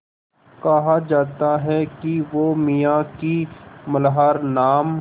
कहा जाता है कि वो मियाँ की मल्हार नाम